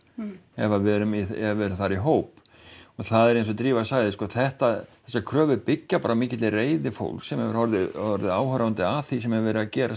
ef við erum við erum þar í hóp og það er eins og Drífa sagði sko þetta þessar kröfur byggja bara á mikilli reiði fólks sem hefur orðið orðið áhorfendur að því sem hefur verið að gerast